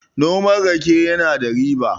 noman rake yana da riba